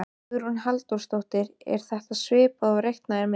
Hugrún Halldórsdóttir: Er þetta svipað og þú reiknaðir með?